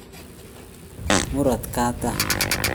Murot kaatam.